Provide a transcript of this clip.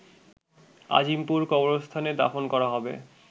আজিমপুর কবরস্থানে দাফন করা হবে